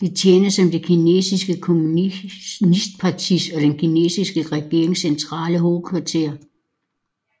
Det tjener som Det kinesiske kommunistpartis og den kinesiske regerings centrale hovedkvarter